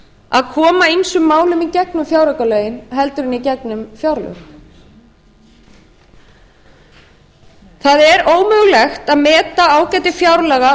að koma ýmsum málum í gegnum fjáraukalögin í gegnum fjáraukalögin heldur en í gegnum fjárlög það er ómögulegt að meta ágæti fjárlaga